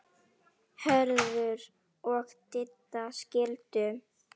Hörður og Didda skildu.